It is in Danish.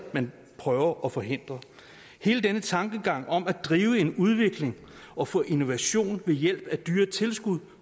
man prøver at forhindre hele denne tankegang om at drive en udvikling og få innovation ved hjælp af dyre tilskud